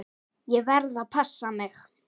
Ég verð að passa mig.